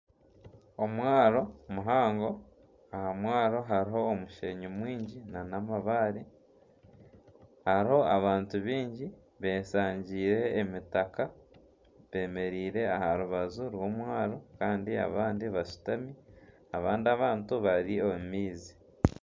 Omwaaro muhango aha mwaaro hariho omusheenyi mwingi nana ,amabaare ,hariho abantu bingi b'eshangiire emitaka ,bemereire aharubaju rw'omwaaro Kandi abandi bashutami abandi abantu bari omu maizi.